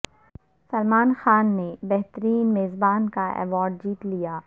سلمان خان نے بہترین میزبان کا ایوارڈ جیت لیا